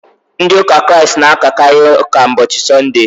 Ndị ụka Kraịst na-akakarị ụka ụbọchị sọndee.